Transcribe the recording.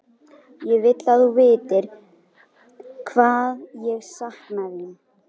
Ég vil að þú vitir hvað ég sakna þín.